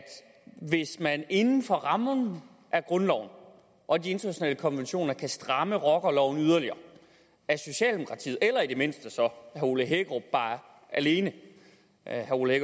hvis man inden for rammerne af grundloven og de internationale konventioner kan stramme rockerloven yderligere er socialdemokratiet eller i det mindste herre ole hækkerup alene herre ole